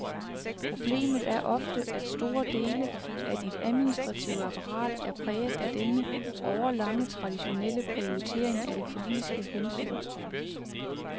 Problemet er ofte, at store dele af dit administrative apparat er præget af denne årelange traditionelle prioritering af de politiske hensyn.